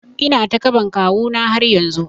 Ina takaɓan kawu na har yanzu